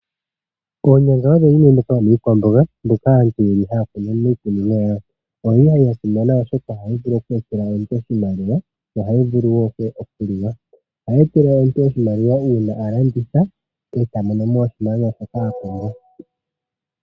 Onyanga odho dhimwe ndhoka dhomiikwamboka ndhoka aanti yeli haya kunu miikunino yawo, oyili ya simana oshoka oha yi vulu okweetela omuntu oshimaliwa yo ohayi vulu wo okuliwa, ohayi etele omuntu oshimaliwa uuna alanditha e ta monomo oshimaliwa shoka a pumbwa.